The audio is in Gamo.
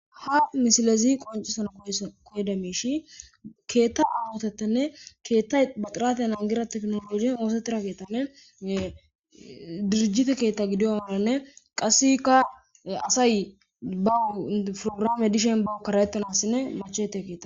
Ha misilezi qoncisana koyida miishi keeththa ahotetanne keeththay baxiratiya nangira teknolojen oosetira keeththanne dirjite keetta gidiyoganne qasseka asay bawu prograame dishin bawu kara'ettanassinne machete keta..